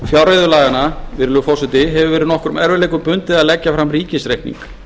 fjárreiðulaganna hefur verið nokkrum erfiðleikum bundið að leggja fram ríkisreikning